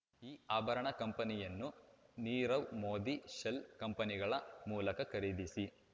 ಈ ಆಭರಣ ಕಂಪನಿಯನ್ನು ನೀರವ್ ಮೋದಿ ಶೆಲ್ ಕಂಪನಿಗಳ ಮೂಲಕ ಖರೀದಿಸಿ